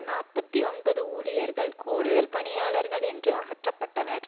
நாப்பத்தி ஒன்பது ஊழியர்கள் கூடுதல் பணியாளர்கள் என்று அகற்றப்பட்டனர்